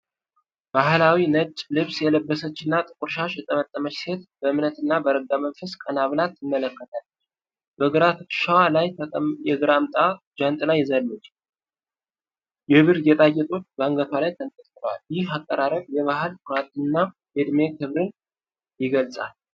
ባህላዊ ነጭ ልብስ የለበሰችና ጥቁር ሻሽ የጠመጠመች ሴት በእምነትና በረጋ መንፈስ ቀና ብላ ትመለከታለች። በግራ ትከሻዋ ላይ የግራምጣ ጃንጥላ ይዛለች። የብር ጌጣጌጦች በአንገቷ ላይ ተንጠልጥለዋል። ይህ አቀራረብ የባህል ኩራትና የዕድሜ ክብርን ይገልጻል።